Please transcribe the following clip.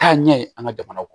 Taa ɲɛ ye an ka jamana kɔnɔ